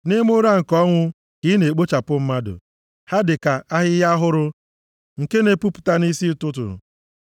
Nʼime ụra nke ọnwụ ka ị na-ekpochapụ mmadụ; ha dịka ahịhịa ọhụrụ nke na-epupụta nʼisi ụtụtụ,